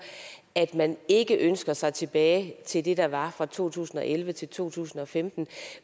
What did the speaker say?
at man ikke ønsker sig tilbage til det der var fra to tusind og elleve til to tusind og femten